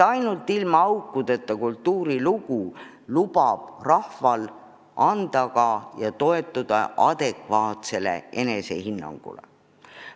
Ainult ilma aukudeta kultuurilugu võimaldab rahval toetuda adekvaatsele enesehinnangule.